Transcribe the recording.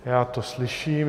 Já to slyším.